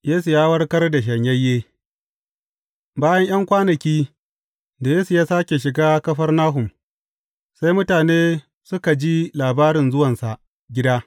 Yesu ya warkar da shanyayye Bayan ’yan kwanaki, da Yesu ya sāke shiga Kafarnahum, sai mutane suka ji labarin zuwansa gida.